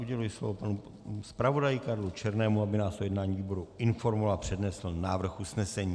Uděluji slovo panu zpravodaji Karlu Černému, aby nás o jednání výboru informoval a přednesl návrh usnesení.